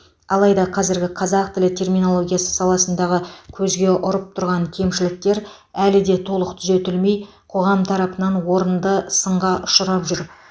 алайда қазіргі қазақ тілі терминологиясы саласындағы көзге ұрып тұрған кемшіліктер әлі де толық түзетілмей қоғам тарапынан орынды сынға ұшырап жүр